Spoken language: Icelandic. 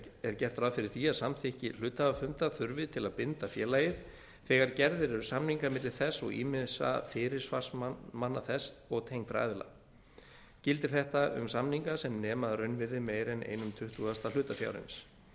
er gert ráð fyrir því að samþykki hluthafafundar þurfi til að binda félagið þegar gerðir eru samningar milli þess og ýmissa fyrirsvarsmanna þess og tengdra aðila gildir þetta um samninga sem nema að raunvirði meira en einn tuttugasti hlutafjárins